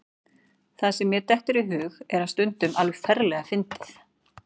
Það sem mér dettur í hug er stundum alveg ferlega fyndið.